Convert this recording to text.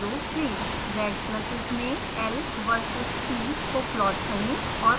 red pluses में l versus t को plot करें